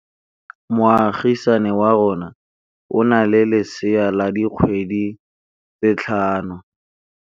Moagisane wa rona o na le lesea la dikgwedi tse tlhano.